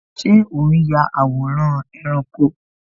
Ṣé o n ya àwòrán ẹranko?